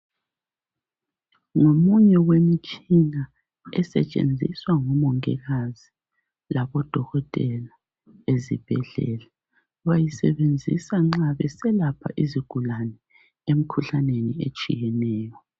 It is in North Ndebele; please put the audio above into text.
Ngomunye wemitshina esetshenziswa ngabo Mongikazi labo Dokotela ezibhedlela. Bayisebenzisa nxa beselapha izigulane emikhuhlaneni etshiyeneyo.